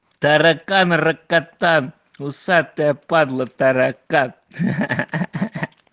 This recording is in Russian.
таракан ракатан усатая падла таракан ха ха ха